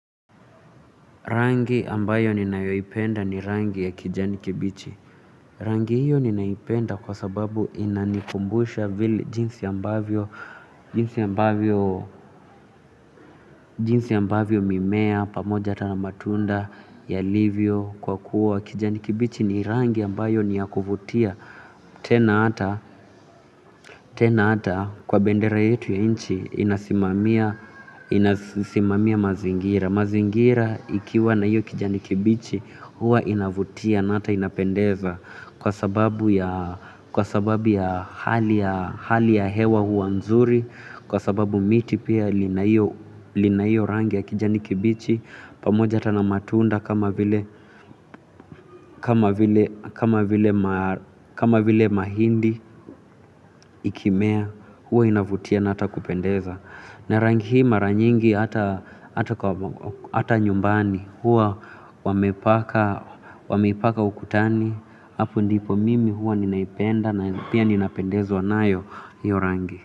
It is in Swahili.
Rangi ambayo ninayoipenda ni rangi ya kijani kibichi. Rangi hiyo ninaipenda kwa sababu inanikumbusha vile jinsi ambavyo, jinsi ambavyo, jinsi ambavyo mimea, pamoja hata na matunda yalivyo kwa kuwa kijani kibichi ni rangi ambayo ni ya kuvutia. Tena hata kwa bendera yetu ya nchi inasimamia mazingira mazingira ikiwa na hiyo kijani kibichi huwa inavutia na hata inapendeza kwa sababu ya hali ya hewa huwa nzuri kwa sababu miti pia lina hiyo rangi ya kijani kibichi pamoja hata na matunda kama vile mahindi ikimea huwa inavutia na hata kupendeza na rangi hii mara nyingi hata nyumbani huwa wameipaka ukutani hapo ndipo mimi huwa ninaipenda na pia ninapendezwa nayo hiyo rangi.